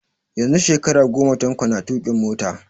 Yanzu shekara goma Tanko na tuƙin mota